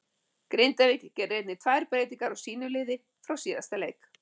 Grindavík gerir einnig tvær breytingar á sínu liði frá síðasta leik.